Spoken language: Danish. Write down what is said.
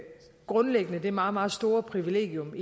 grundlæggende det meget meget store privilegium